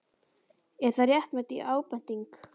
Er það réttmæt ábending?